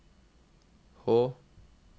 H